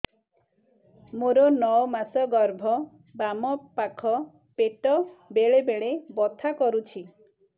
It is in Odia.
ମୋର ନଅ ମାସ ଗର୍ଭ ବାମ ପାଖ ପେଟ ବେଳେ ବେଳେ ବଥା କରୁଛି